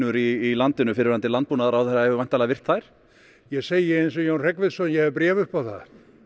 í landinu fyrrverandi landbúnaðarráðherra hefur væntanlega virt þær ég segi eins og Jón Hreggviðsson ég hef bréf upp á það